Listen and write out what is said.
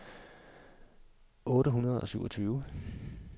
otte hundrede og syvogtyve